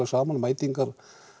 saman mætingu